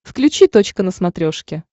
включи точка на смотрешке